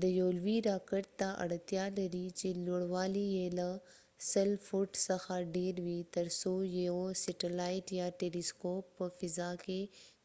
دا یو لوی راکټ ته اړتیا لري چې لوړوالی یې له 100 فوټ څخه ډیر وي تر څو یو سټلایټ یا ټيلی سکوپ په فضا کې